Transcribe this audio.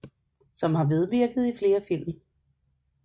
Som har medvirket i flere film